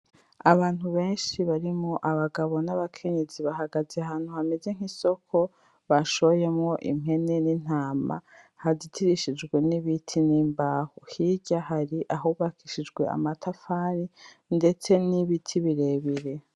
Abantu benshi barimwo abagabo n'abakenyezi bahagaze ahantu hameze nk'isoko, bashoyemwo impene n'intama, hazitirishijwe n'ibiti n'imbaho. Hirya hari ahubakishijwe amatafari, ndetse n'ibiti birebire.